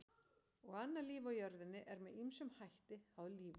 Og annað líf á jörðinni er með ýmsum hætti háð lífinu í sjónum.